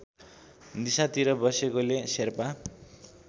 दिशातिर बसेकोले शेर्पा